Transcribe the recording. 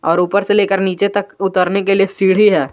और ऊपर से लेकर नीचे तक उतरने के लिए सीढ़ी है।